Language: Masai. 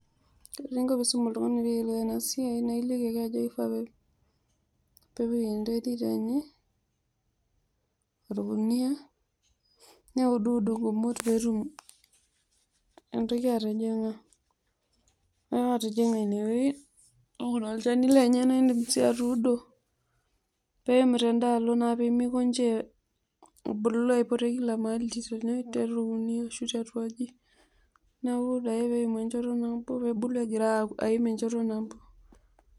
Teninko teniisum oltungani peyiolou enasiai naa iliki ake oltungani pepik enterit enye orkunia neuduud nkumot peetum entoki atijijnga, atijinga inewueji olchani lenye na indim sii atuuno peimu tendaalo pemikonji abulu ajing kila maali ashu tiatua aji, neaku taa peebulu aaimu enchoto nabo.